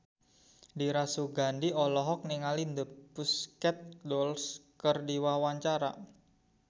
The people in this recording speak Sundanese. Dira Sugandi olohok ningali The Pussycat Dolls keur diwawancara